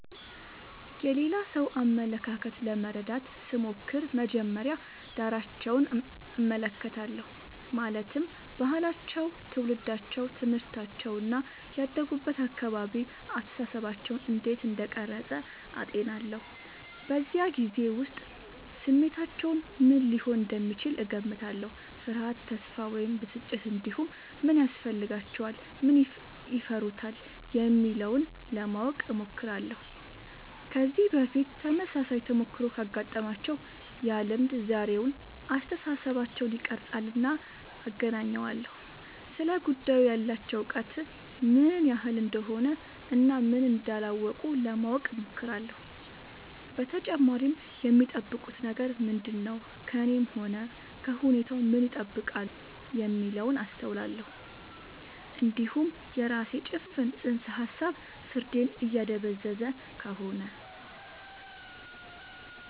የሌላ ሰው አመለካከት ለመረዳት ስሞክር መጀመሪያ ዳራቸውን እመለከታለሁ ማለትም ባህላቸው ትውልዳቸው ትምህርታቸው እና ያደጉበት አካባቢ አስተሳሰባቸውን እንዴት እንደቀረጸ አጤናለሁ በዚያ ጊዜ ውስጥ ስሜታቸው ምን ሊሆን እንደሚችል እገምታለሁ ፍርሃት ተስፋ ወይም ብስጭት እንዲሁም ምን ያስፈልጋቸዋል ምን ይፈሩታል የሚለውን ለማወቅ እሞክራለሁ ከዚህ በፊት ተመሳሳይ ተሞክሮ ካጋጠማቸው ያ ልምድ ዛሬውን አስተሳሰባቸውን ይቀርፃልና አገናኘዋለሁ ስለ ጉዳዩ ያላቸው እውቀት ምን ያህል እንደሆነ እና ምን እንዳላወቁ ለማወቅ እሞክራለሁ በተጨማሪም የሚጠብቁት ነገር ምንድነው ከእኔም ሆነ ከሁኔታው ምን ይጠብቃሉ የሚለውን አስተውላለሁ እንዲሁም የራሴ ጭፍን ጽንሰ ሀሳብ ፍርዴን እያደበዘዘ ከሆነ